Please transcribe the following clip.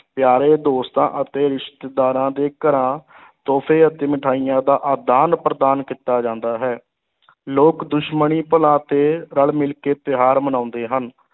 ਪਿਆਰੇ ਦੋਸਤਾਂ ਅਤੇ ਰਿਸ਼ਤੇਦਾਰਾਂ ਦੇ ਘਰਾਂ ਤੋਹਫ਼ੇ ਅਤੇ ਮਿਠਾਈਆਂ ਦਾ ਆਦਾਨ-ਪ੍ਰਦਾਨ ਕੀਤਾ ਜਾਂਦਾ ਹੈ ਲੋਕ ਦੁਸ਼ਮਣੀ ਭੁਲਾ ਕੇ ਰਲ-ਮਿਲ ਕੇ ਤਿਉਹਾਰ ਮਨਾਉਂਦੇ ਹਨ।